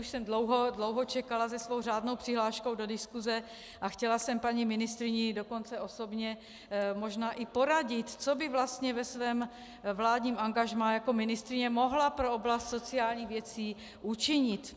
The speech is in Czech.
Už jsem dlouho čekala se svou řádnou přihláškou do diskuze a chtěla jsem paní ministryně dokonce osobně možná i poradit, co by vlastně ve svém vládním angažmá jako ministryně mohla pro oblast sociálních věcí učinit.